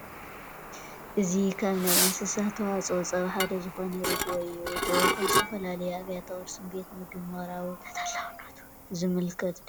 እዚ ካብ ናይ እንስሳት ተዋፅኦ ፀባ ሓደ ዝኾነ ርግኦ እዩ፡፡ ርጉኦ ኣብ ዝተፈላለዩ ኣብያተ ቁርስን ቤት ምግብን ምቕራቡ ተጠላብነቱ ዘምልክት ዶ ይኾን?